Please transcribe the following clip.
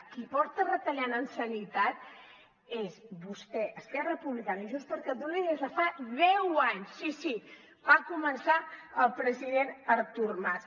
qui porta retallant en sanitat és vostè esquerra republicana i junts per catalunya des de fa deu anys sí sí va començar el president artur mas